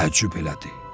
Təəccüb elədi.